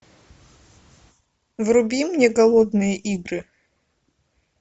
вруби мне голодные игры